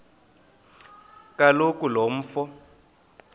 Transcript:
kaloku lo mfo